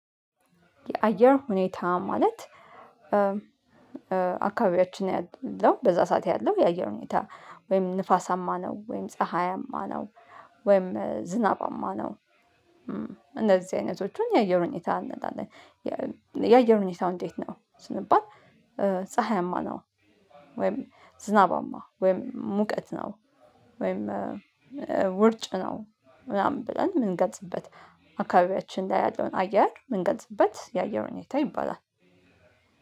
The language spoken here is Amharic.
የአየር ሁኔታ ማለት አካባቢያችን ያለው በዛ ሰዓት ያለው የአየር ሁኔታ ወይም ንፋሳማ ነው ወይም ፀሀያማ ነው ወይም ዝናባማ ነው እንደዚህ አይነቶቹን የአየር ሁኔታ እንላለን። የአየር ሁኔታው እንዴት ነው ስንባል? ፀሀያማ ነው ወይም ዝናባማ ወይም ሙቀት ነው። ወይም ውርጭ ነው ምናምን ብለን የምንገልጽበት አካባቢያችን ላይ ያለውን አየር የምንገልጽበት የአየር ሁኔታ ይባላል